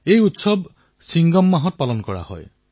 এই পৰ্ব চিনগম মাহত পালন কৰা হয়